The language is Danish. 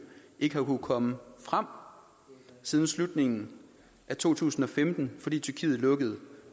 ikke har kunnet komme frem siden slutningen af to tusind og femten fordi tyrkiet lukkede